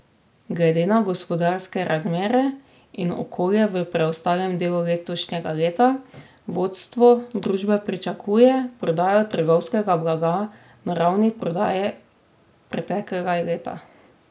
Glede na gospodarske razmere in okolje v preostalem delu letošnjega leta vodstvo družbe pričakuje prodajo trgovskega blaga na ravni prodaje preteklega leta.